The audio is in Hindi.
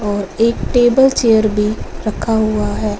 और एक टेबल चेयर भी रखा हुआ है।